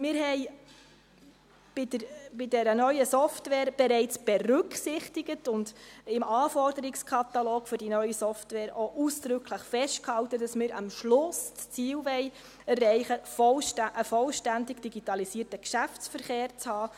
Wir haben bei der neuen Software bereits berücksichtigt und im Anforderungskatalog für die neue Software auch ausdrücklich festgehalten, dass wir am Schluss das Ziel erreichen wollen, einen vollständig digitalisierten Geschäftsverkehr zu haben.